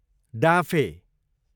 डाँफे